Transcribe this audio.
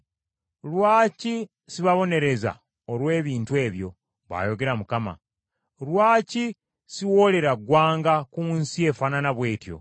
Lwaki sibabonereza olw’ebintu ebyo? bw’ayogera Mukama , Lwaki siwoolera ggwanga ku nsi efaanana bw’etyo?”